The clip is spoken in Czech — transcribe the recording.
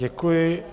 Děkuji.